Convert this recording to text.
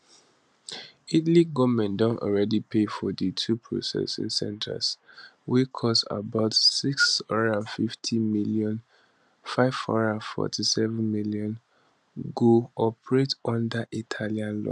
italy goment don already pay for di two processing centres wey cost about 650m 547m go operate under italian law